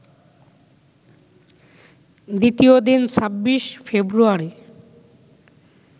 দ্বিতীয় দিন ২৬ ফেব্রুয়ারি